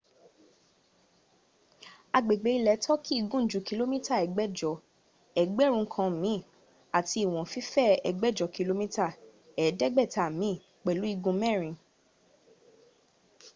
agbègbè ilẹ̀ turkey gùn ju kìlómítà ẹgbẹ̀jọ ẹgbẹ̀rún kan mi àti ìwọ̀n fífẹ̀ ẹgbẹ̀jọ kìlómítà ẹ̀ẹ́dẹ̀gbẹ̀ta mi pẹ̀lú igun mẹ́rin